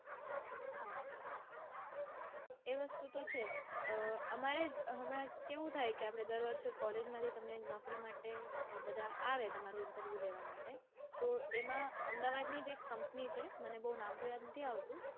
એ વસ્તુ તો છે. અઅઅ અમારે હમણાં કેવું થાય કે આપડે દર વર્ષે કોલેજમાંથી તમને નોકરી માટે આવે તમારું interview લેવા માટે તો એમાં અમદાવાદની જ એક કંપની છે મને નામ તો બઉ યાદ નઈ આવતું.